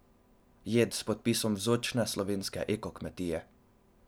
Jed s podpisom vzorčne slovenske eko kmetije!